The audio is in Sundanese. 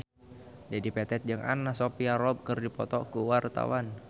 Dedi Petet jeung Anna Sophia Robb keur dipoto ku wartawan